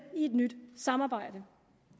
i et nyt samarbejde